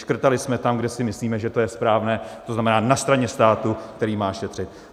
Škrtali jsme tam, kde si myslíme, že to je správné, to znamená na straně státu, který má šetřit.